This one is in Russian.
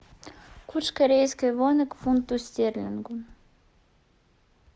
курс корейской воны к фунту стерлингу